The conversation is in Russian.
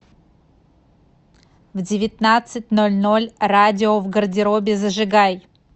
в девятнадцать ноль ноль радио в гардеробе зажигай